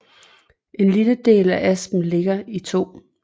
En lille del af Aspern ligger i 2